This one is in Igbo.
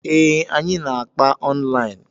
Ee, anyị na-akpa online.